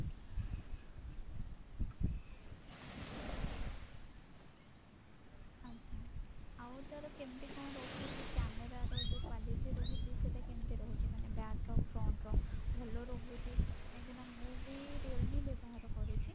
ଆଜ୍ଞା ଆଉ ତାର କେମିତି କଣ ରହୁଛି camera ର ଯଉ quality ରହୁଛି ସେଟା କେମତି ରହୁଛି ମାନେ back ଆଉ front ର ଭଲ ରହୁଛି କାହିଁକି ନା ମୁଁ ବି realme ବ୍ୟବହାର କରୁଛି